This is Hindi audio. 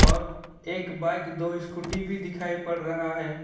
और एक बाइक दो स्कूटी भी दिखाई पड़ रहा है।